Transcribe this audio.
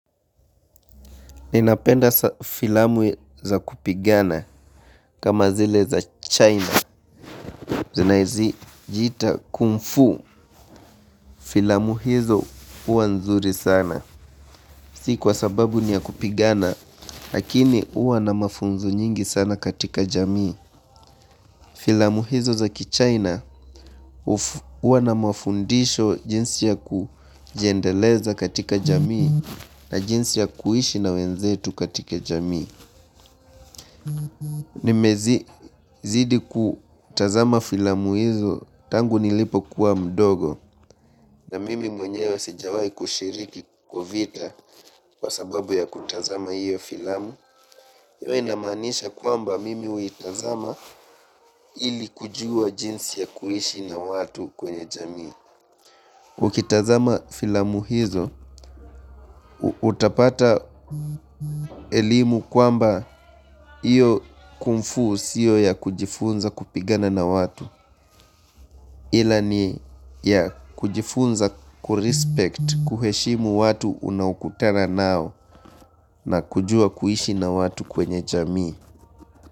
Ninapenda filamu za kupigana kama zile za China. Zinajiita kungfu filamu hizo huwa nzuri sana. Si kwa sababu ni ya kupigana, lakini huwa na mafunzo nyingi sana katika jamii. Filamu hizo za kichaina huwa na mafundisho jinsi ya kujiendeleza katika jamii na jinsi ya kuishi na wenzetu katika jamii. Nimezidi kutazama filamu hizo tangu nilipo kuwa mdogo na mimi mwenye wa sijawai kushiriki kwa vita kwa sababu ya kutazama hiyo filamu. Hiyo inamaanisha kwamba mimi huitazama ili kujua jinsi ya kuishi na watu kwenye jamii. Ukitazama filamu hizo, utapata elimu kwamba hiyo kumfu siyo ya kujifunza kupigana na watu ila ni ya kujifunza kurespect kuheshimu watu unaokutuna nao na kujua kuishi na watu kwenye jamii.